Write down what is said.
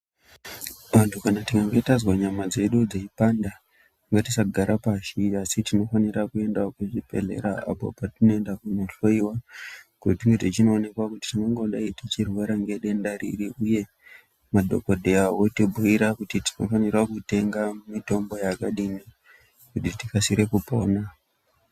Antu kana tikange tazwa nyama dzedu dzeipanda ngatisagara pashi asi tinofanira kuendawo kuzvibhedhlera apo patinoenda kunohloiwa kuti tinge tichinoonekwa kuti tingangodai tichirwara nedenda riri, uye madhogodheya otibhuira kuti tinofanira kutenga mitombo yakadini kuti tikasire kupona.